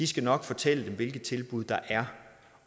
skal nok fortælle dem hvilke tilbud der er